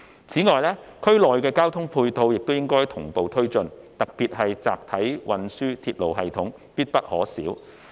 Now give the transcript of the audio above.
此外，政府應同步推進區內的交通配套，特別是集體運輸鐵路系統必不可少。